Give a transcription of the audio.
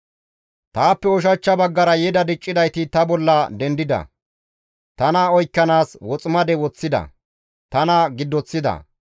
Taappe ushachcha baggara yeda diccidayti ta bolla dendida; tana oykkanaas woximade woththida; tana giddoththida.